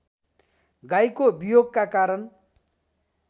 गाईको वियोगका कारण